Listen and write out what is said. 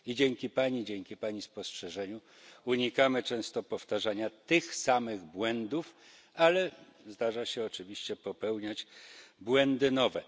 Dzięki pani, dzięki pani spostrzeżeniu unikamy często powtarzania tych samych błędów, ale zdarza się oczywiście popełniać błędy nowe.